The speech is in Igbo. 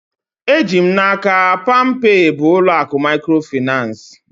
Eji m n'aka, palmpay bụ ụlọ akụ mikrofinansi